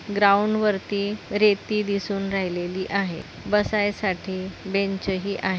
Ground वरती रेती दिसून राहिलेली आहे बसायसाठी बेंच ही आहे.